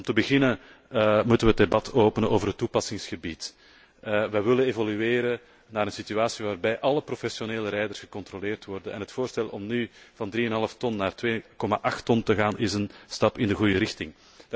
Om te beginnen moeten wij het debat openen over het toepassingsgebied. Wij willen evolueren naar een situatie waarbij alle professionele rijders gecontroleerd worden en het voorstel om nu van 3,5 ton naar 2,8 ton te gaan is een stap in de goede richting.